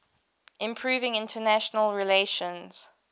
improving international relations